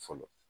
Fɔlɔ